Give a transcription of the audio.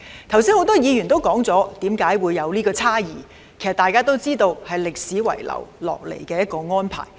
剛才很多議員已提及出現有關差異的原因，大家都知道是歷史遺留下來的安排。